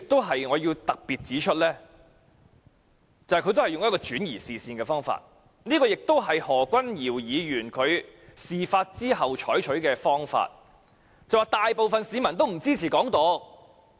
此外，我亦想特別指出，陳克勤議員剛才也用上了轉移視線的方法，而這亦是何君堯議員在事發後採取的做法，辯稱大部分市民也不支持"港獨"。